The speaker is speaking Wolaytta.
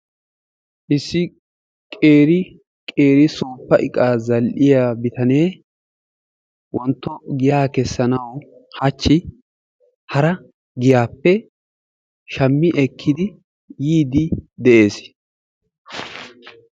Issi qeri qeri suuppa iqaa zal"iyaa bitanee wontto giyaa keessanawu haachchi hara giyaappe shaammi ekkidi yiidi de'ees.